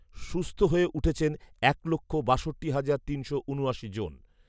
সুস্থ হয়ে উঠেছেন এক লক্ষ বাষট্টি হাজার তিনশো উনআশি জন